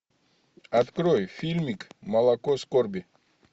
открой фильмик молоко скорби